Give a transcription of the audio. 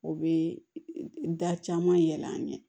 O bɛ da caman yɛlɛ an ye